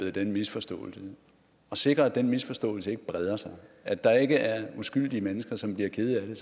den misforståelse og sikre at den misforståelse ikke breder sig og at der ikke er uskyldige mennesker som bliver kede af det